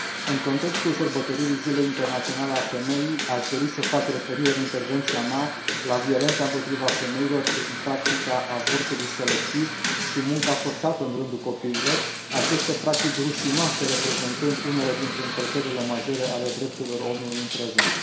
În contextul sărbătoririi Zilei Internaționale a Femeii, aș dori să fac referire în intervenția mea la violența împotriva femeilor prin practica avortului selectiv și munca forțată în rândul copiilor, aceste practici rușinoase reprezentând unele dintre încălcările majore ale drepturilor omului în prezent.